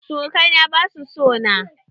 Surukai na basu so na.